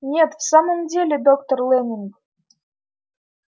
нет в самом деле доктор лэннинг